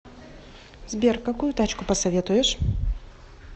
сбер какую тачку посоветуешь